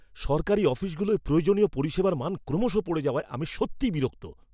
সরকারি অফিসগুলোয় প্রয়োজনীয় পরিষেবার মান ক্রমশ পড়ে যাওয়ায় আমি সত্যিই বিরক্ত।